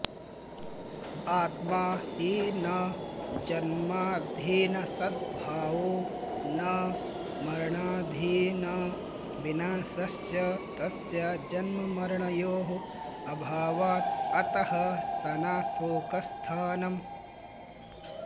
आत्मा हि न जन्माधीनसद्भावो न मरणाधीनविनाशश्च तस्य जन्ममरणयोः अभावात् अतः स न शोकस्थानम्